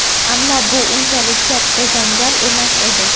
Ammo bu unchalik katta janjal emas edi.